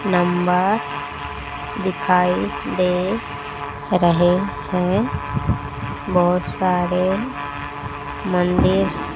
नंबा दिखाई दे रहे हैं। बहोत सारे मंदिर--